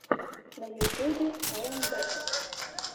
на ютьюбе алан бэкер